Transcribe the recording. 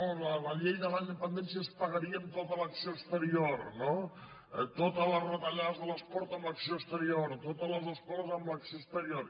no la llei de la dependència es pagaria amb tota l’acció exterior no totes les retallades de l’esport amb l’acció exterior totes les escoles amb l’acció exterior